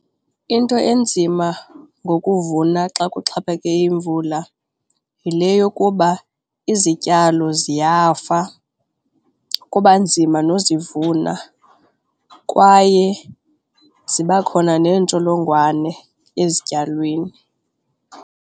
Into enzima ngokuvuna xa kuxhaphake imvula yile yokuba izityalo ziyafa kuba nzima nozivunwa kwaye ziba khona neentsholongwane ezityalweni.